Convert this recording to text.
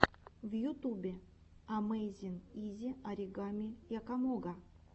в ютубе амэйзин изи оригами якомога